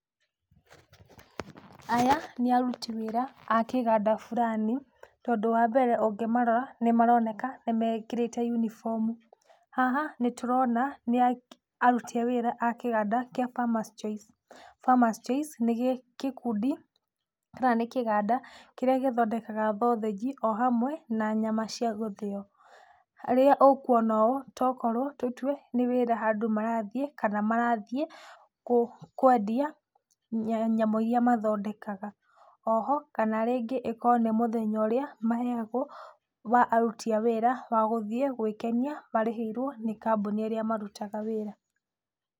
Aya nĩ aruti wĩra a kĩganda burani, tondũ wa mbere ũngĩmarora nĩ maroneka nĩmekĩrĩte yunibomu. Haha nĩtũrona nĩ aruti a wĩra akĩganda kĩa Farmers Choice. Farmers Choice nĩ gĩkundi kana nĩ kĩganda kĩrĩa gĩthondekaga thothĩji o hamwe na nyama cia gũthĩyo. Rĩrĩa ũkuona ũyũ tokorwo tũtue nĩ wĩra handũ marathiĩ, kana marathiĩ kwendia nyama iria mathondekaga. Oho kana ĩkorwo nĩ mũthenya ũrĩa maheagwo wa aruti a wĩra wa gũthiĩ gwĩkenia marĩhĩirwo nĩ kambuni ĩrĩa marutaga wĩra